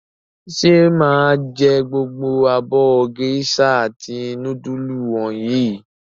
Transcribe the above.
Ṣé mà á jẹ gbogbo abọ́ géíṣà àti núdúlù wọ̀nyí?